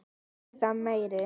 Eða meiri.